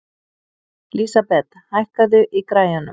Lísabet, hækkaðu í græjunum.